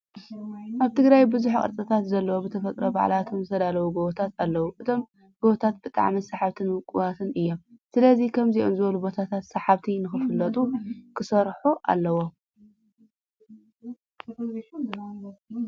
ኣብ ትግራይ ብዙሕ ቅርፅታት ዘለዎም ብተፈጥሮ ባዕልቶም ዝተዳለው ጎቦታት ኣለው። እቶም ጎቦታት ብጣዕሚ ስሓብትን ውቁባትን እዮም። ስለዚ ከምዚኦም ዝበሉ ቦታታት ብሰሓብቲ ንክፍለጡ ክስራሕ ኣለዎ።